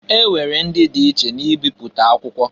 E nwere ndị di iche na ebipụta akwụkwọ.